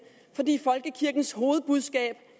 fordi folkekirkens hovedbudskab